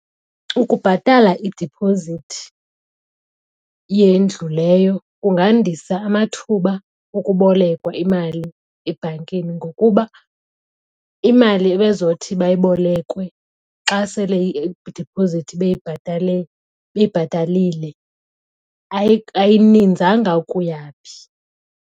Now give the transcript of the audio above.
Ukubhatala idiphozithi yendlu leyo kungandisa amathuba okubolekwa imali ebhankini ngokuba imali ebezothi bayibolekwe xa sele idiphozithi beyibhatale beyibhatalile ayininzanga ukuya phi.